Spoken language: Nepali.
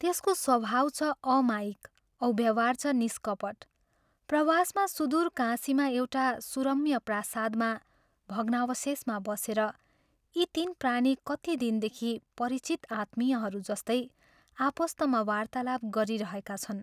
त्यसको स्वभाव छ अमायिक औ व्यवहार छ निष्कपट प्रवासमा सुदूर काशीमा एउटा सुरम्य प्रासादमा भग्नावशेषमा बसेर यी तीन प्राणी कति दिनदेखि परिचित आत्मीयहरू जस्तै आपस्तमा वार्तालाप गरिरहेका छन्।